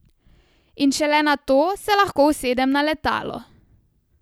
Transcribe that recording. In šele nato se lahko usedem na letalo!